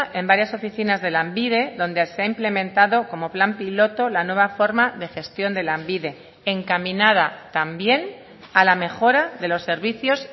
en varias oficinas de lanbide donde se ha implementado como plan piloto la nueva forma de gestión de lanbide encaminada también a la mejora de los servicios